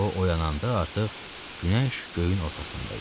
O oyananda artıq günəş göyün ortasında idi.